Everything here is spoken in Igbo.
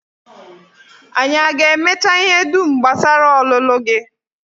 Anyị aga-emecha ihe dum gbasara ọlụlụ gị?